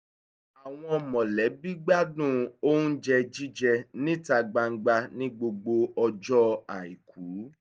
àwọn mọ̀lẹ́bí gbádùn oúnjẹ jíjẹ níta gbangba ní gbogbo ọjọ́ àìkú